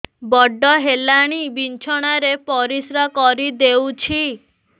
ବଡ଼ ହେଲାଣି ବିଛଣା ରେ ପରିସ୍ରା କରିଦେଉଛି